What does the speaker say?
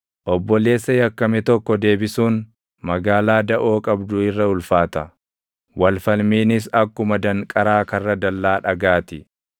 Obboleessa yakkame tokko deebisuun // magaalaa daʼoo qabdu irra ulfaata; wal falmiinis akkuma danqaraa karra dallaa dhagaa ti.